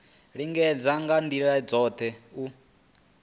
lingedza nga ndila dzothe u